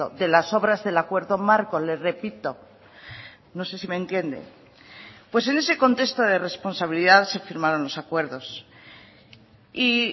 de las obras del acuerdo marco le repito no sé si me entiende pues en ese contexto de responsabilidad se firmaron los acuerdos y